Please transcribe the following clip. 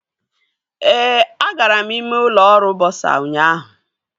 Ee, agara m ime ụlọ ọrụ bọsa ụnyaahụ